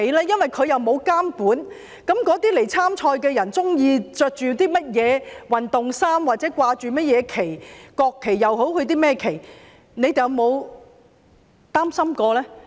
因為他們沒有監管，參賽者穿甚麼運動衫、掛甚麼旗幟，國旗也好，甚麼旗也好，你們有否擔心過呢？